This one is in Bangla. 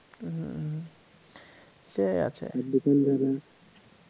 হম সেই আছে